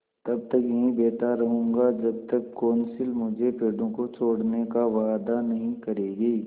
तब तक यहीं बैठा रहूँगा जब तक कौंसिल मुझे पेड़ों को छोड़ने का वायदा नहीं करेगी